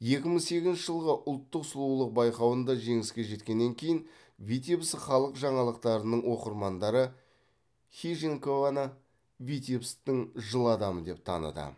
екі мың сегізінші жылғы ұлттық сұлулық байқауында жеңіске жеткеннен кейін витебск халық жаңалықтарының оқырмандары хижинкованы витебсктің жыл адамы деп таныды